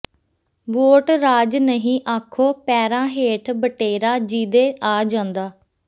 vote ਰਾਜ ਨਹੀਂ ਆਖੋ ਪੈਰਾਂ ਹੇਠ ਬਟੇਰਾ ਜਿਹਦੇ ਆ ਜਾਂਦਾ